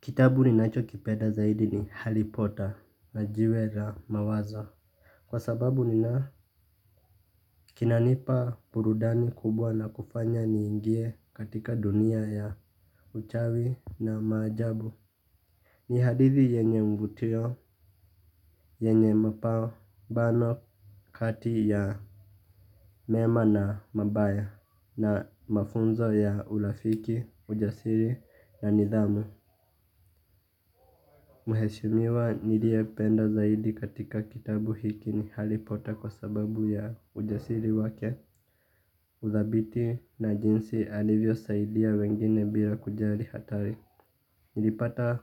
Kitabu ninacho kipenda zaidi ni Harry Potter na jiwe la mawaza. Kwa sababu nina kinanipa burudani kubwa na kufanya niingie katika dunia ya uchawi na maajabu. Ni hadithi yenye mvutio, yenye mapambano kati ya mema na mabaya na mafunzo ya urafiki, ujasiri na nidhamu. Mheshimiwa niliyependa zaidi katika kitabu hiki ni harry potter kwa sababu ya ujasiri wake uthabiti na jinsi alivyosaidia wengine bila kujali hatari. Nilipata